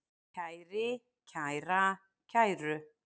kæri, kæra, kæru